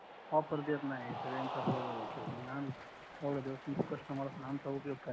offer देत नाही इकडे रेंज चा प्रॉब्लेम येतोय मग आम्ही एवढ्या दिवस तुमचे कस्टमर असून आमचा उपयोग काय